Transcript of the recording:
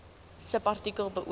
subartikel beoog